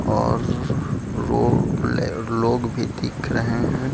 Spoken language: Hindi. और लोग भी दिख रहे है।